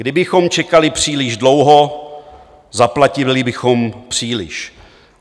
Kdybychom čekali příliš dlouho, zaplatili bychom příliš.